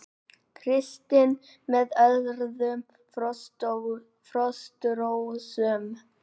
Kristinn með öðrum Frostrósum